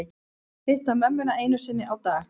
Hitta mömmuna einu sinni á dag